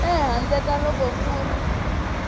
ehandle ka loko ku ri